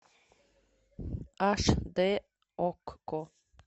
аш д окко